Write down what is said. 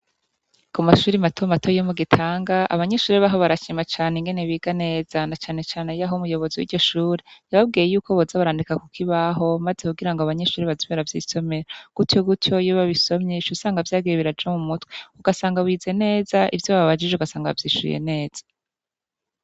Ku mashure mato mato yo mu gihanga abanyeshure baho barashima ingene biga neza na cane cane yaho umuyobozi wiryo shure yababwiye yuko biza barandika kukibabaho kugira abanyeshure baze baravyisomera gutyo gutyo iyo babisomye uca usanga vyagiye biraja mumutwe ugasanga wize neza ivyo babajije ugasanga wavyishuye neza.